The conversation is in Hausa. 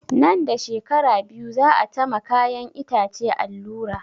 Nan da shekara biyu za a ta ma kayan itace allura